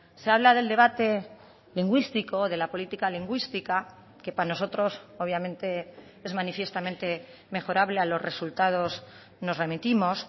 se habla del debate lingüístico de la política lingüística que para nosotros obviamente es manifiestamente mejorable a los resultados nos remitimos